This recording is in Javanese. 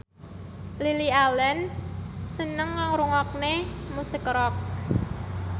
Lily Allen seneng ngrungokne musik rock